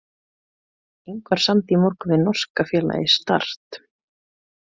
Ingvar samdi í morgun við norska félagið Start.